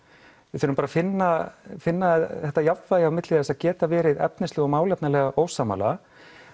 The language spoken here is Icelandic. við verðum bara að finna finna þetta jafnvægi á milli þess að geta verið efnislega og málefnalega ósammála